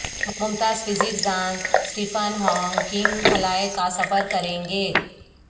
ممتاز physics دان Stephen Hawking خلاء کا سفر کریں گے